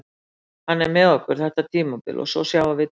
Hann er með okkur þetta tímabil og svo sjáum við til.